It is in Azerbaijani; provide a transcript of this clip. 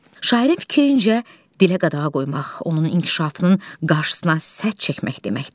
Şairin fikrincə dilə qadağa qoymaq onun inkişafının qarşısına sədd çəkmək deməkdir.